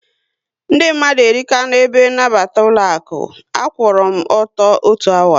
Ndị mmadụ erika na ebe nabata ụlọaku, a kwụọra m ọtọ otu awa